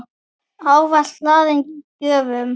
Ávalt hlaðin gjöfum.